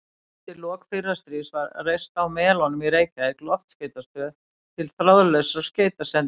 Undir lok fyrra stríðs var reist á Melunum í Reykjavík loftskeytastöð til þráðlausra skeytasendinga.